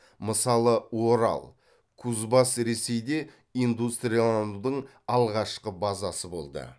мысалы орал кузбасс ресейде индустрияланудың алғашқы базасы болды